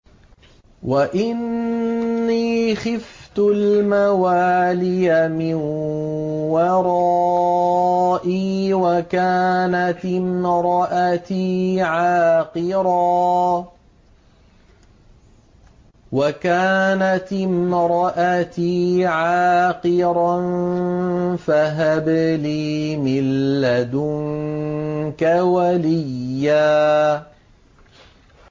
وَإِنِّي خِفْتُ الْمَوَالِيَ مِن وَرَائِي وَكَانَتِ امْرَأَتِي عَاقِرًا فَهَبْ لِي مِن لَّدُنكَ وَلِيًّا